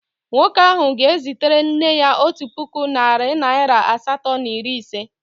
Nwoke ahụ ga-ezitere nne ya otu puku naịra nari asatọ na iri ise.